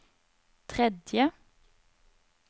tredje